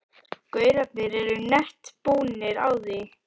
gaurarnir eru nett búnir á því.